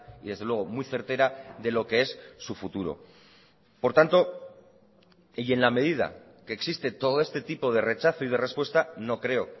y desde luego muy certera de lo que es su futuro por tanto y en la medida que existe todo este tipo de rechazo y de respuesta no creo